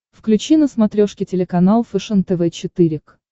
включи на смотрешке телеканал фэшен тв четыре к